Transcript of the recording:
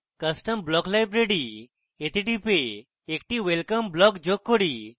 custom block library তে টিপে একটি welcome block যোগ করি